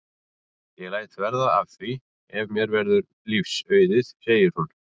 Ég læt verða af því ef mér verður lífs auðið sagði hún.